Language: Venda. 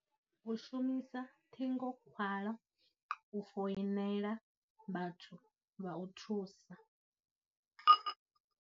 U shumisa ṱhingokhwala u foinela vhathu vha u thusa.